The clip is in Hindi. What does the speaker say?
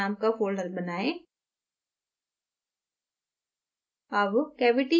अब cylinder name का folder बनाएँ